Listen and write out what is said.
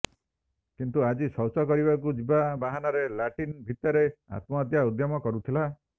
କିନ୍ତୁ ଆଜି ଶୌଚ କରିବାକୁ ଯିବା ବାହାନାରେ ଲାଟ୍ରିନ୍ ଭିତରେ ଆତ୍ମହତ୍ୟା ଉଦ୍ୟମ କରୁଥିଲା